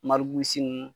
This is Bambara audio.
marusi nunnu